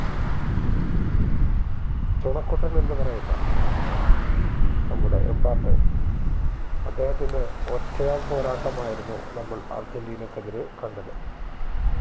ചുണക്കുട്ടൻ എന്ന് പറയുന്ന നമ്മുടെ എംബാപ്പെ അദ്ദേഹത്തിന്റെ ഒറ്റയാൾ പോരാട്ടമായിരുന്നു നമ്മൾ അർജന്റീനക്ക് എതിരെ കണ്ടത്